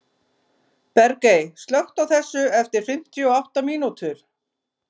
Bergey, slökktu á þessu eftir fimmtíu og átta mínútur.